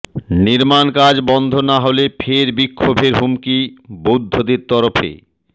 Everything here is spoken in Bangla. নির্মাণকাজ বন্ধ না হলে ফের বিক্ষোভের হুমকি বৌদ্ধদের তরফে